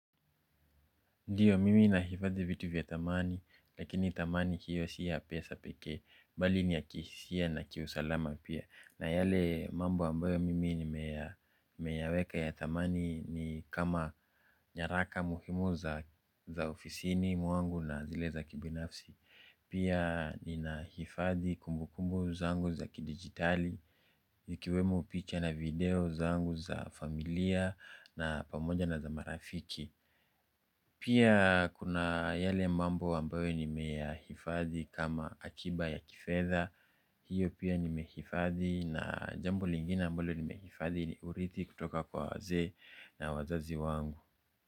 Ndiyo, mimi nahifadhi vitu vya thamani, lakini thamani hiyo si ya pesa pekee, bali ni ya kihisia na kiusalama pia. Na yale mambo ambayo mimi nimeyaweka ya thamani ni kama nyaraka muhimu za ofisini mwangu na zile za kibinafsi. Pia ninahifadhi kumbukumbu zangu za kidigitali, ikiwemu picha na video zangu za familia na pamoja na za marafiki. Pia kuna yale mambo ambayo nimeyahifadhi kama akiba ya kifedha, hiyo pia nimehifadhi na jambo lingine ambalo nimehifadhi ni urithi kutoka kwa wazee na wazazi wangu.